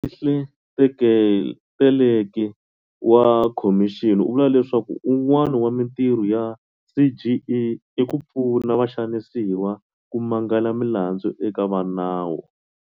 Mofihli Teleki wa khomixini u vula leswaku wun'wana wa mintirho ya CGE i ku pfuna vaxanisiwa ku mangala milandzu eka vanawu.